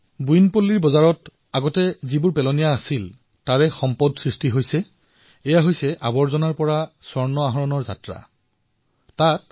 বোয়িনপল্লীৰ বজাৰৰ যি পূৰ্বে আৱৰ্জনা আছিল আজি সেয়া সম্পদলৈ পৰিৱৰ্তিত হৈছে ইয়াকেই আৱৰ্জনাৰ পৰা মুকুতালৈ পৰিৱৰ্তিত হোৱা বুলি কোৱা হয়